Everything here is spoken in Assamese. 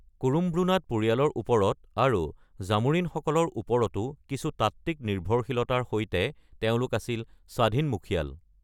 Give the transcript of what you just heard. কুৰুমব্ৰুনাড পৰিয়ালৰ ওপৰত আৰু জামোৰিনসকলৰ ওপৰতো কিছু তাত্ত্বিক নিৰ্ভৰশীলতাৰ সৈতে তেওঁলোক আছিল স্বাধীন মুখীয়াল।